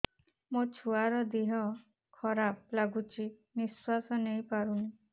ମୋ ଛୁଆର ଦିହ ଖରାପ ଲାଗୁଚି ନିଃଶ୍ବାସ ନେଇ ପାରୁନି